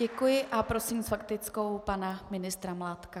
Děkuji a prosím s faktickou pana ministra Mládka.